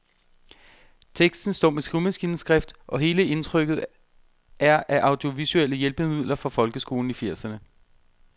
Teksten står med skrivemaskineskrift, og hele indtrykket er af audiovisuelle hjælpemidler fra folkeskolen i firserne.